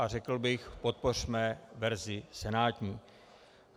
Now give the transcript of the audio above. A řekl bych, podpořme verzi senátní.